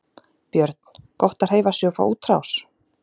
Björn: Gott að hreyfa sig og fá útrás?